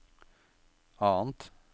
annet